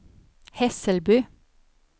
Hässelby